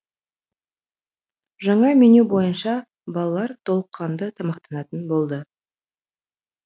жаңа меню бойынша балалар толыққанды тамақтанатын болды